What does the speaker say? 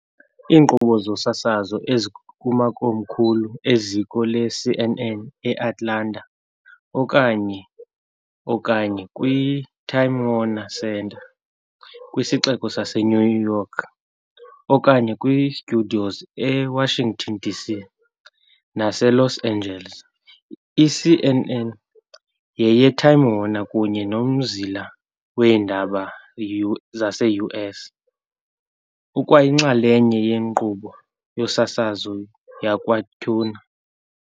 Iinkqubo zosasazo ezikumakomkhulu e-ziko leCNN eAtlanta, okanye, okanye kwi-Time Warner Center kwisixeko sase-New York, okanye kwi-studios e-Washington, D.C., nase-Los Angeles. I-CNN yeye-Time Warner, kunye nomzila weendaba zase-U.S. ukwayinxalenye ye-nkqubo yosasazo yakwa-Turner.